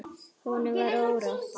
Honum var órótt.